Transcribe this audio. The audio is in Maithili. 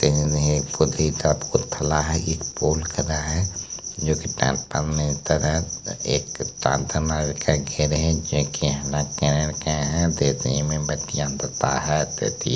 पुती का पुतला हैं एक